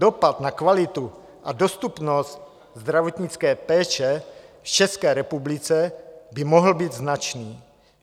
Dopad na kvalitu a dostupnost zdravotnické péče v České republice by mohl být značný.